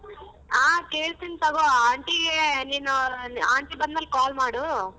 ಹ ಕೇಳ್ತೀನಿ ತಗೋ aunty ಗೆ ನೀನು aunty ಬಂದ್ಮೇಲೆ call ಮಾಡು.